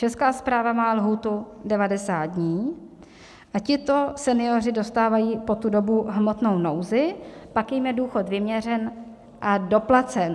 Česká správa má lhůtu 90 dní a tito senioři dostávají po tu dobu hmotnou nouzi, pak jim je důchod vyměřen a doplacen.